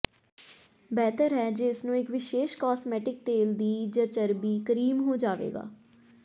ਬਿਹਤਰ ਹੈ ਜੇ ਇਸ ਨੂੰ ਇੱਕ ਵਿਸ਼ੇਸ਼ ਕਾਸਮੈਟਿਕ ਤੇਲ ਦੀ ਜ ਚਰਬੀ ਕਰੀਮ ਹੋ ਜਾਵੇਗਾ